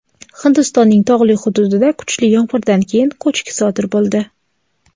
Hindistonning tog‘li hududida kuchli yomg‘irdan keyin ko‘chki sodir bo‘ldi.